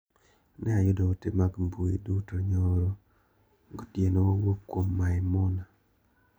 Ne ayudo ote mag mbui duto nyoror gotieno mowuok kuom Maimuna.